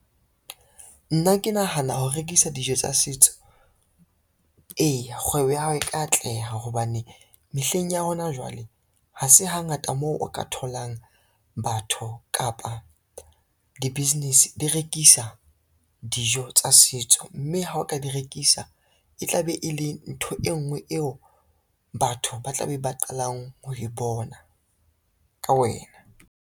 Nna ke nahana ho rekisa dijo tsa setso. Eya kgwebo ya hao e tla atleha hobane, mehleng ya hona jwale ha se hangata moo o ka tholang batho kapa di-business di rekisa dijo tsa setso, mme ha o ka di rekisa e tla be e le ntho e ngwe eo batho ba tla be ba qalang ho e bona ka wena.